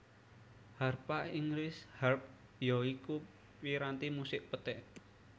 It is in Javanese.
Harpa Inggris Harp ya iku piranti musik petik